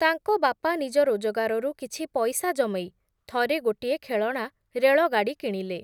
ତାଙ୍କ ବାପା ନିଜ ରୋଜଗାରରୁ କିଛି ପଇସା ଜମେଇ, ଥରେ ଗୋଟିଏ ଖେଳଣା ରେଳଗାଡ଼ି କିଣିଲେ ।